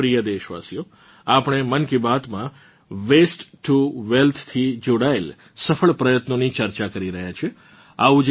મારાં પ્રિય દેશવાસીઓ આપણે મન કી બાતમાં વસ્તે ટીઓ વેલ્થ થી જોડાયેલ સફળ પ્રયત્નોની ચર્ચા કરી રહ્યાં છીએ